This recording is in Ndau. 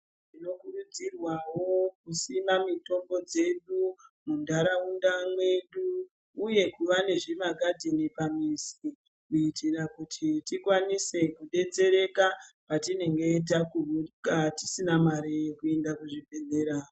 Tinokurudzirwawo kusima mitombo dzedu munharaunda mwedu uye kuva nezvimagadheni pamuzi kuitira kuti tikwanise kudetsereka patinenge ,tisina mare yekuende kuzvibhehlera.